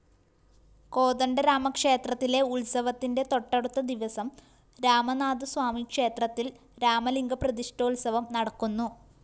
കോദണ്ഡരാമക്ഷേത്രത്തിലെ ഉത്സവത്തിന്റെ തൊട്ടടുത്ത ദിവസം രാമനാഥസ്വാമിക്ഷേത്രത്തില്‍ രാമലിംഗപ്രതിഷ്‌ഠോത്സവം നടക്കുന്നു